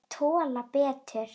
Þær tolla betur.